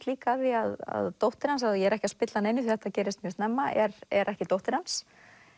líka að því að dóttir hans og ég er ekki að spilla neinu því þetta gerist snemma er er ekki dóttir hans